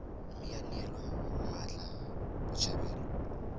mme ya neelwa mmatla botshabelo